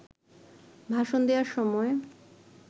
ভাষণ দেওয়ার সময়